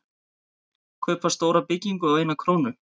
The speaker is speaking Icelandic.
Kaupa stóra byggingu á eina krónu